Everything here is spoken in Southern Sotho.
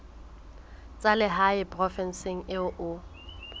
tsa lehae provinseng eo o